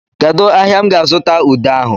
Kedụ ahịa m ga-azụta ude ahụ?